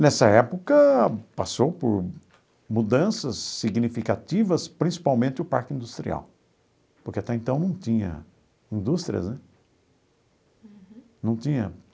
Nessa época, passou por mudanças significativas, principalmente o Parque Industrial, porque até então não tinha indústrias né, não tinha.